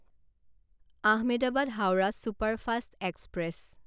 Ahmedabad Howrah superfast express